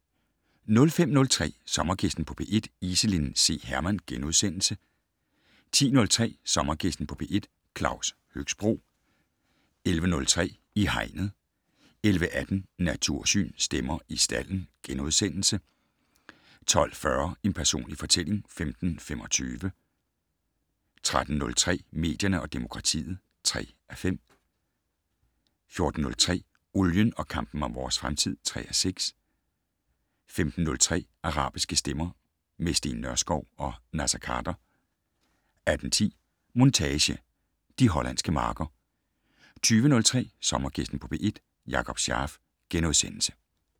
05:03: Sommergæsten på P1: Iselin C. Hermann * 10:03: Sommergæsten på P1: Claus Høxbroe 11:03: I hegnet 11:18: Natursyn: Stemmer i stalden * 12:40: En personlig fortælling (15:25) 13:03: Medierne og demokratiet (3:5) 14:03: Olien og kampen om vores fremtid (3:6) 15:03: Arabiske stemmer - med Steen Nørskov og Naser Khader 18:10: Montage: De hollandske marker 20:03: Sommergæsten på P1: Jakob Scharf *